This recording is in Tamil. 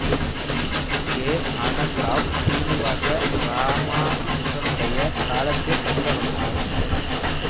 கே ஆனந்த ராவ் சீனிவாச இராமானுசனுடைய காலத்திய கணித வல்லுனர்